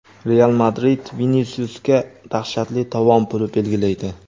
"Real Madrid" Vinisiusga dahshatli tovon puli belgilaydi.